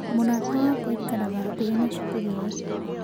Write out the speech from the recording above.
Mũrata wakwa aikaraga hakuhĩ na cukuru ĩyo.